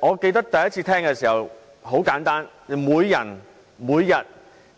我記得第一次聽到這種說法時，很簡單，我想到的是每人每天